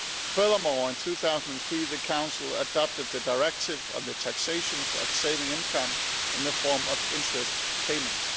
Furthermore, in 2003 the Council adopted the Directive on the taxation of saving income in the form of interest payments.